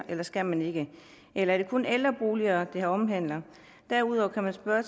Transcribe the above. eller skal man ikke eller er det kun ældreboliger det omhandler derudover kan man spørge